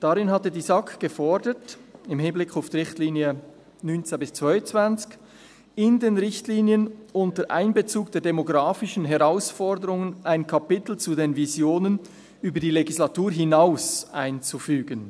Darin hatte die SAK, im Hinblick auf die Richtlinien 2019–2022, gefordert: «[...] unter Einbezug der demografischen Herausforderung ein Kapitel zu den Visionen einzufügen.